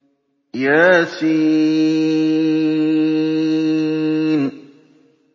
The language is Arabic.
يس